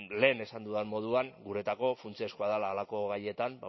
lehen esan dudan moduan guretzako funtsezkoa dela halako gaietan